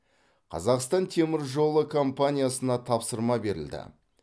қазақстан темір жолы компаниясына тапсырма берілді